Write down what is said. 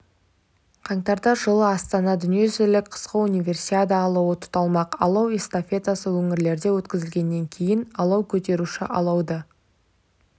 қаңтарда жылы астанада дүниежүзілік қысқы универсиада алауы тұталмақ алау эстафетасы өңірлерде өткізілгеннен кейін алау көтеруші алауды